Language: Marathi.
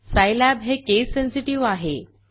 सायलॅब हे केस सेन्सेटिव्ह आहे